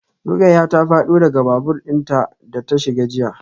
Rukayyah ta fado daga babur din da ta shiga jiya.